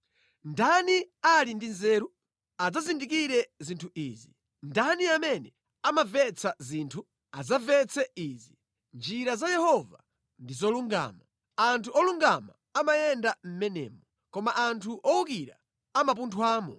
Ndani ali ndi nzeru? Adzazindikire zinthu izi. Ndani amene amamvetsa zinthu? Adzamvetse izi. Njira za Yehova ndi zolungama; anthu olungama amayenda mʼmenemo, koma anthu owukira amapunthwamo.